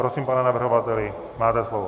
Prosím pane navrhovateli, máte slovo.